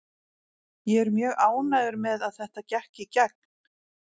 Ég er mjög ánægður með að þetta gekk í gegn.